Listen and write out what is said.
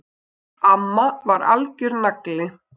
Amma var algjör nagli!